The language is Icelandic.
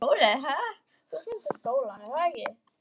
Þú ferð í skólann, er að ekki?